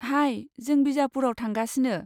हाय! जों बिजापुरआव थांगासिनो।